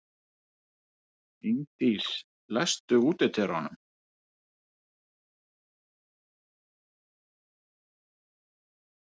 Ingdís, læstu útidyrunum.